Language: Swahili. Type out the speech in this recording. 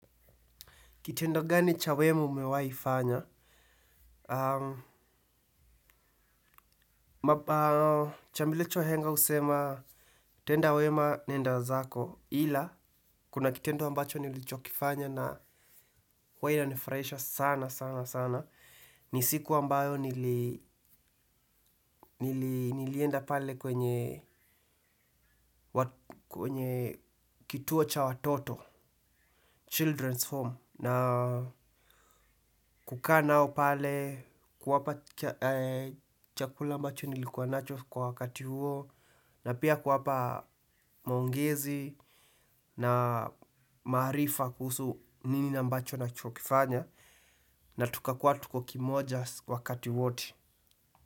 Kitendo gani cha wema umewahifanya? Chambilecho wahenga husema, tenda wema nenda zako ila, kuna kitendo ambacho nilichokifanya na wainanifuraisha sana sana sana. Ni siku ambayo nilienda pale kwenye kituo cha watoto, children's home. Na kukaa nao pale kwa hapa chakula ambacho nilikuwa nacho kwa wakati huo. Na pia kuwapa maongezi na maarifa kuhusu nini ambacho nachokifanya. Na tuka kuwa tuko kimoja wakati wato.